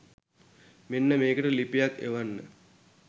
මෙන්න මේකට ලිපියක් එවන්න